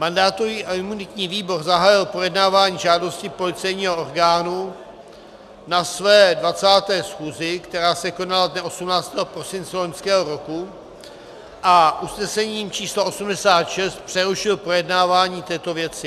Mandátový a imunitní výbor zahájil projednávání žádosti policejního orgánu na své 20. schůzi, která se konala dne 18. prosince loňského roku, a usnesením číslo 86 přerušil projednávání této věci.